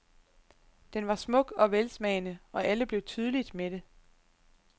Den var smuk og velsmagende, og alle blev tydeligt mætte.